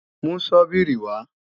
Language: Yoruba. Mú Sọ́bíìrì wa!